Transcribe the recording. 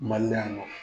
Mali yan nɔ